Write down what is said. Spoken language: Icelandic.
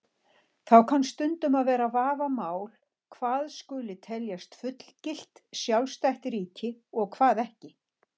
Þá kann stundum að vera vafamál hvað skuli telja fullgilt, sjálfstætt ríki og hvað ekki.